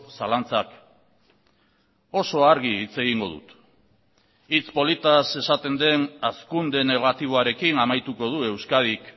zalantzak oso argi hitz egingo dut hitz politaz esaten den hazkunde negatiboarekin amaituko du euskadik